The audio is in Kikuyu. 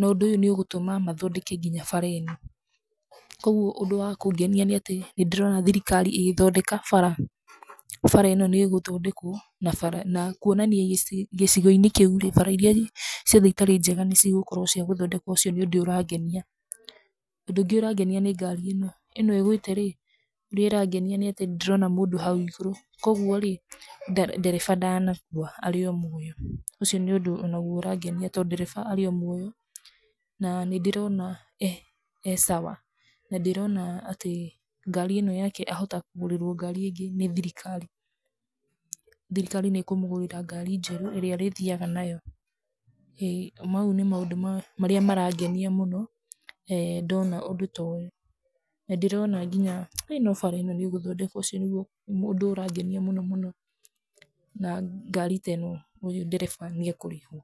nondũ nĩũgũtũma mathondeke nginya bara ĩno, koguo ũndũ wa kũngenia nĩatĩ ndĩrona thirikari ĩgĩthondeka bara, bara ĩno nĩgũthondekwo, na bara kuonania ici gĩcigo-inĩ kĩu rĩ, bara iria ciothe itarĩ njega nĩcigũkorwo cia gũthondekwo ũcio nĩ ũndũ ũrangenia, ũndũ ũngĩ ũrangenia nĩ ngari ĩno ĩgwĩte rĩ, nĩrangenia nĩatĩ nĩndĩrona mũndũ hau igũrũ, koguo rĩ, nde ndereba ndanakua arĩ o muoyo, ũcio nĩũndũ onaguo ũrangenia tondũ ndereba arĩ o muoyo, na nĩndĩrona e sawa nandĩrona atĩ ngari ĩno yake ahota kũgũrĩrwo ngari ĩngĩ nĩ thirikari, thirikari nĩkũmũgũrĩra ngari njerũ, ĩrĩa arĩthiaga nayo ĩ, mau nĩ maũndũ ma marĩa marangenia mũno he ndona ũndũ ta ũyũ, nĩndĩrona nginya, he no bara ĩno nĩgũthondekwo ũcio nĩguo ũndũ ũrangenia mũno mũno, na ngari teno ndereba nĩekũrĩhwo.